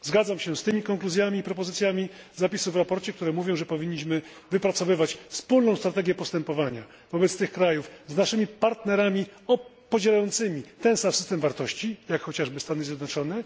Zgadzam się z tymi konkluzjami i propozycjami zapisu w sprawozdaniu, które mówią, że powinniśmy wypracowywać wspólną strategię postępowania wobec tych krajów z naszym partnerami podzielającymi ten sam system wartości, jak chociażby Stany Zjednoczone.